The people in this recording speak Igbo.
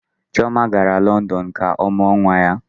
Chioma gara London ka ọ mụọ nwa ya.